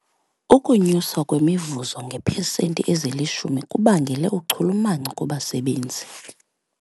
Ukunyuswa kwemivuzo ngeepesenti ezilishumi kubangele uchulumanco kubasebenzi.